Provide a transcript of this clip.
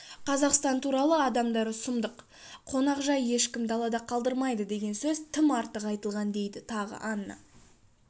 қазақстан туралы адамдары сұмдық қонақжай ешкім далада қалдырмайды деген сөз тым артық айтылған дейді тағы анна